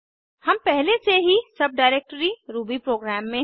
हम पहले से ही सब डाइरेक्टरी रूबीप्रोग्राम में हैं